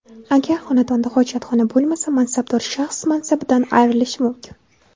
Agar xonadonda hojatxona bo‘lmasa, mansabdor shaxs mansabidan ayrilishi mumkin.